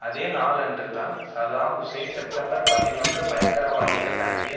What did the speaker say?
அதே நாளன்றுதான் Saddam Hussein September பதினொன்று பயங்கரவாதிகள் நடத்திய